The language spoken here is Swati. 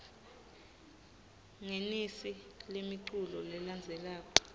ngenisa lemiculu lelandzelako